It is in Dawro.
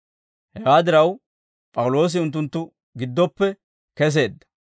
Hewaa diraw, P'awuloosi unttunttu giddoppe keseedda.